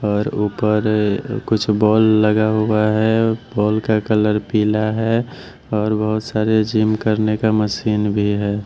और ऊपर कुछ बॉल लगा हुआ है बॉल का कलर पीला है और बहुत सारे जिम करने का मशीन भी है।